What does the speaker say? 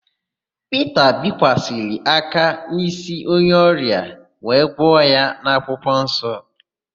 Pita bikwasara aka n'ísí onye ọrịa wee gwọ ya n'akwụkwọnsọ.